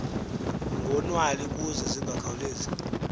ngonwali ukuze zingakhawulezi